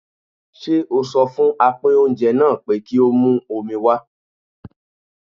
Ṣé o sọ fún apín oúnjẹ náà pé kí ó mú omi wá?